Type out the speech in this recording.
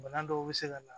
Bana dɔw bɛ se ka na